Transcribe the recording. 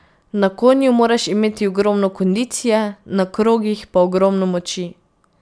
Na konju moraš imeti ogromno kondicije, na krogih pa ogromno moči.